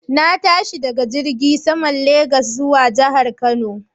Na tashi daga filin jirgin saman Legas zuwa jihar Kano